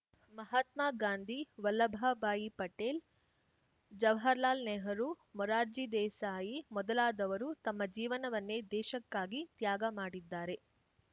ಮಹಾತ್ಮ ಗಾಂಧಿ ವಲ್ಲಭಾ ಬಾಯಿ ಪಟೇಲ್‌ ಜವರ್ಹರ್ಲಾಲ್ ನೆಹರೂ ಮುರಾರ್ಜಿ ದೇಸಾಯಿ ಮೊದಲಾದವರು ತಮ್ಮ ಜೀವನವನ್ನೇ ದೇಶಕ್ಕಾಗಿ ತ್ಯಾಗಮಾಡಿದ್ದಾರೆ